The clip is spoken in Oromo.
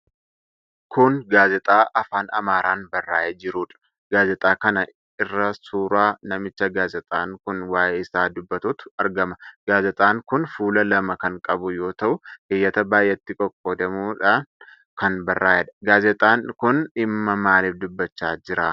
Kun gaazexaa afaan Amaaraan barraa'eee jirudha. Gaazexaa kana irra suura namicha gaazexaan kun waa'ee isaa dubatuutu argama. Gaazexaan kun fuula lama kan qabu yoo ta'u keeyyata baay'etti qoqqoodamuun kan barraa'edha. Gaazexaan kun dhimma maalii dubbachaa jira?